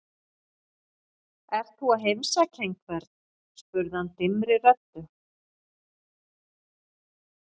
Ert þú að heimsækja einhvern? spurði hann dimmri röddu.